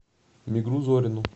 мигру зорину